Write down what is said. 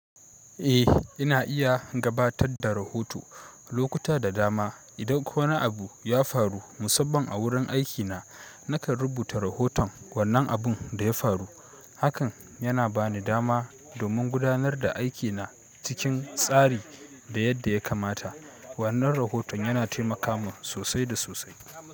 Eh, ina iya gabatar da rahoto lokuta da dama. Idan ko wani abu ya faru musamman a wurin aikina nakan rubuta rahoton wannan abun da ya faru hakan yana bani dama domin gudanar da aiki na cikin tsari da yadda ya kamata. Wannan rahoton yana taimaka mun sosai da sosai.